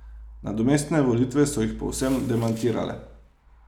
Nadomestne volitve so jih povsem demantirale.